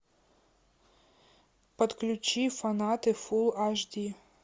подключи фанаты фулл аш ди